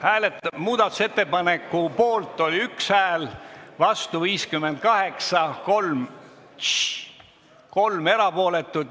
Hääletustulemused Muudatusettepaneku poolt anti 1 hääl, vastu 58 häält, 3 jäid erapooletuks.